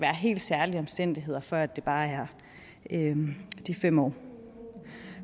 helt særlige omstændigheder før det bare er de fem år